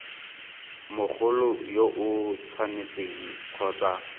mogolo yo o tshwanetseng kgotsa